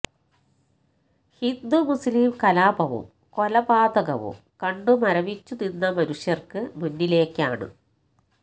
ഹിന്ദു മുസ്ലിം കലാപവും കൊലപാതകവും കണ്ട് മരവിച്ചു നിന്ന മനുഷ്യർക്ക് മുന്നിലേക്കാണ്